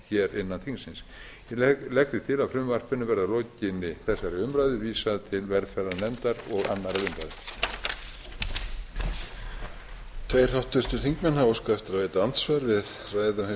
hér innan þingsins ég legg því til að frumvarpinu verði að lokinni þegar umræðu vísað til velferðarnefndar og annarrar umræðu